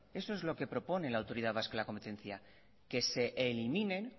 eso es lo que propone la autoridad vasca de la competencia que se eliminen